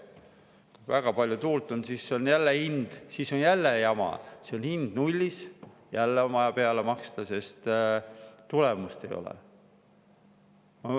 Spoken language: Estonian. Kui väga palju tuult on, siis on jälle jama, siis on hind nullis, jälle on vaja peale maksta, sest tulemust ei ole.